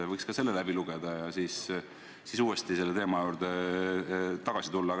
Ta võiks selle läbi lugeda ja siis selle teema juurde tagasi tulla.